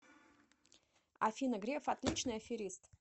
афина греф отличный аферист